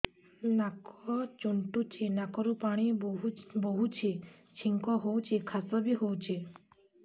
ନାକ ଚୁଣ୍ଟୁଚି ନାକରୁ ପାଣି ବହୁଛି ଛିଙ୍କ ହଉଚି ଖାସ ବି ହଉଚି